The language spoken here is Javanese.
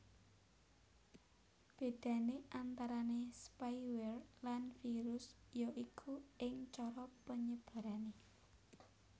Bédané antarané spyware lan virus ya iku ing cara panyebarané